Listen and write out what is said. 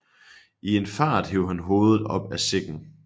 I en fart hev han hovedet op af sækken